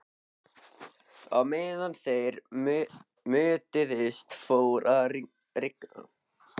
Á meðan þeir mötuðust fór að rigna.